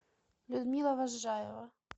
людмила возжаева